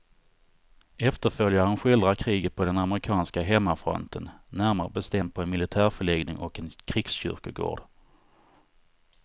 Efterföljaren skildrar kriget på den amerikanska hemmafronten, närmare bestämt på en militärförläggning och en krigskyrkogård.